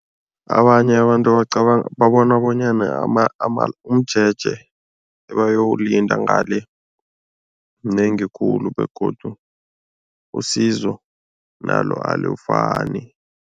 Abanye abantu babona bonyana umjeje ebayowulinda ngale mnengi khulu begodu usizo nalo alufani.